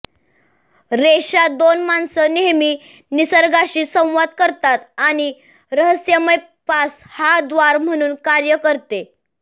रेषा दोन माणसं नेहमी निसर्गाशी संवाद करतात आणि रहस्यमय पास हा द्वार म्हणून कार्य करते